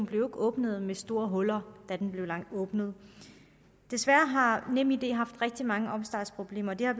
blev åbnet med store huller da den blev åbnet desværre har nemid haft rigtig mange opstartsproblemer det har